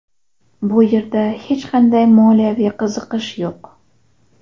Bu yerda hech qanday moliyaviy qiziqish yo‘q.